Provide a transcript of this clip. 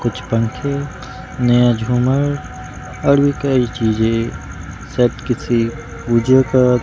कुछ पंखे नया झूमर और भी कई चीजें शायद किसी पूजो का--